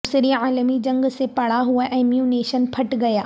دوسری عالمی جنگ سے پڑا ہوا ایمونیشن پھٹ گیا